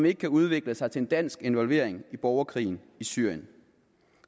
ikke kan udvikle sig til en dansk involvering i borgerkrigen i syrien